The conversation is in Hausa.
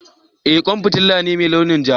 Eh kwan fitila ce mai launin ja.